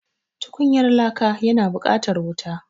Tukunyar laka yana buƙatar wuta.